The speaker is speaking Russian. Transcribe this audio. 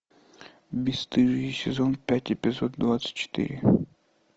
бесстыжие сезон пять эпизод двадцать четыре